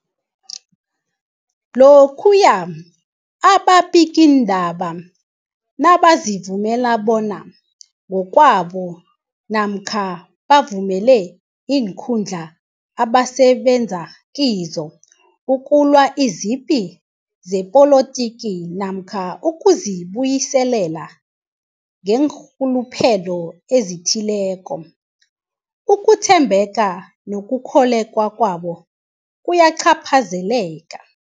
Lokhuya ababikiindaba nabazivumela bona ngokwabo namkha bavumele iinkundla abasebenza kizo ukulwa izipi zepolitiki namkha ukuzi buyiselela ngeenrhuluphelo ezithileko, ukuthembeka nokukholweka kwabo kuyacaphazeleka.